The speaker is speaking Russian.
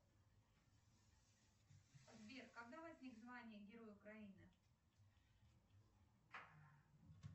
сбер когда возник звание герой украины